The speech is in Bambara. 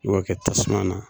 I b'o kɛ tasuma na